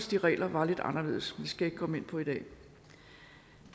de regler var lidt anderledes det skal jeg ikke komme ind på i dag